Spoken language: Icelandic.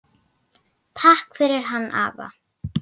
Takk fyrir hann afa.